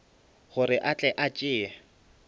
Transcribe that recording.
gore a tle a tšee